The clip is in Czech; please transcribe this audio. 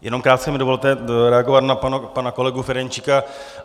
Jenom krátce mi dovolte reagovat na pana kolegu Ferjenčíka.